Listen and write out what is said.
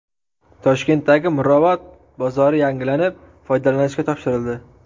Toshkentdagi Mirobod bozori yangilanib, foydalanishga topshirildi.